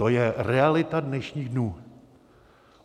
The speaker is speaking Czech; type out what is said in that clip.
To je realita dnešních dnů.